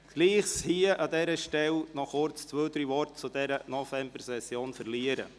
Ich möchte an dieser Stelle noch kurz ein paar Worte über diese Session verlieren.